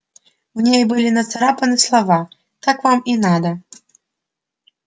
в ней были нацарапаны слова так вам и надо